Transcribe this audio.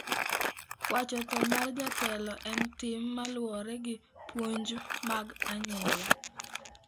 Wacho tho mar jatelo en tim ma luwore gi puonj mag anyuola.